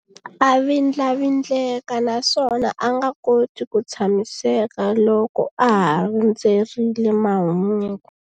A vindlavindleka naswona a nga koti ku tshamiseka loko a ha rindzerile mahungu.